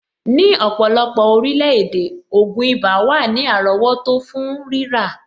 Ní ọ̀pọ̀lọpọ̀ orílẹ̀-èdè, ògùn ibà wà ní àrọ́wọ́tó fún rírà.